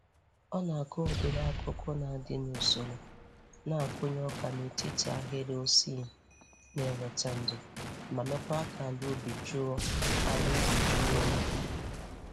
Ọ na-akụ ụdịrị akụkụ na-adị n'usoro na-akụnye ọka n'etit ahịrị ossi na-eweta ndo ma meekwa ka ala ubi jụọ ala ubi jụọ oyi.